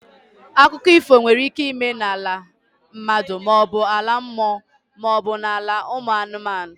Akụkọ ifo nwere ike ịme n'ala mmadụ maọbu ala mmụọ maọbụ ala ụmụ anụmanụ.